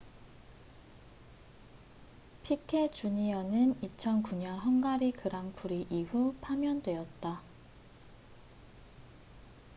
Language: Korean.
피케 주니어piquet jr.는 2009년 헝가리 그랑프리 이후 파면되었다